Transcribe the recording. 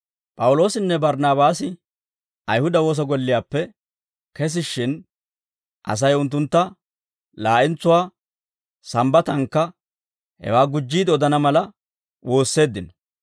P'awuloosinne Barnaabaasi Ayihuda woosa golliyaappe kesishshin, Asay unttuntta laa'entsuwaa Sambbatankka hewaa gujjiide odana mala woosseeddino.